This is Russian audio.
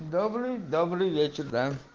добрый добрый вечер да